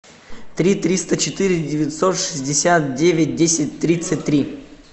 три триста четыре девятьсот шестьдесят девять десять тридцать три